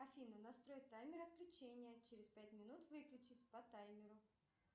афина настрой таймер отключения через пять минут выключить по таймеру